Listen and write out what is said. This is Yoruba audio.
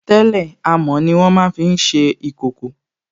Tẹ́lẹ̀ amọ̀ ní wọ́n máa fi n ṣe ìkòkò